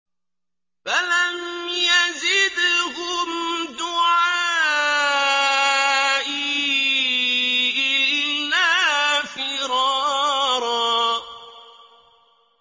فَلَمْ يَزِدْهُمْ دُعَائِي إِلَّا فِرَارًا